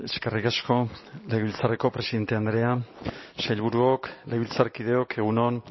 eskerrik asko legebiltzarreko presidente andrea sailburuok legebiltzarkideok egun on